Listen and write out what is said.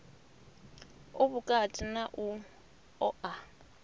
u vhukati na u oa